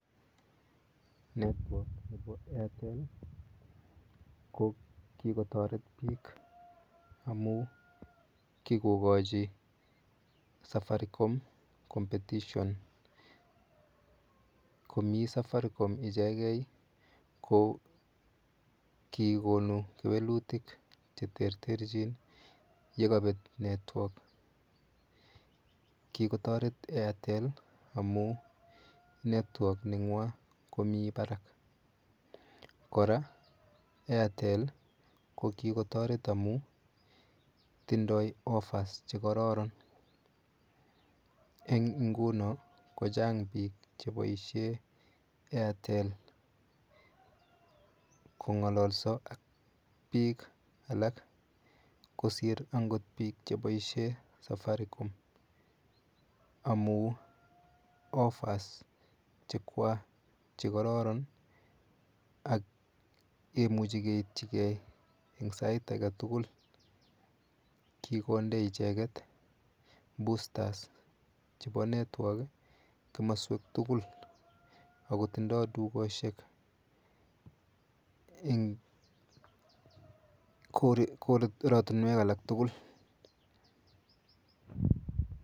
Network nepo Airtel ko kikotoret biik amu kikokochi safaricom competition komi safaricom ichegei ko kikonu kewelutik cheterter chin yekabet network kikotoret airtel amu network nengwany komi barak kora airtel ko kikotoret amu tundoi offers chekororon eng nguno kochang biik cheboishe airtel kongololso ak biik alak kosir angot biik cheboishe safaricom amu offers chekwach chekororon ak kemuchei keitchi eng sait ake tukul kikonde icheget busters chebo network komoswek tugul akotindoi dukoshek eng oratunwek alak tugul